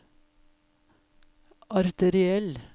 arteriell